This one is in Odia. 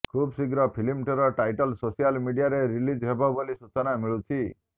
ଖୁବଶିଘ୍ର ଫିଲ୍ମଟିର ଟାଇଟଲ୍ ସୋସିଆଲ୍ ମିଡ଼ିଆରେ ରିଲିଜ୍ ହେବ ବୋଲି ସୂଚନା ମିଳୁଛି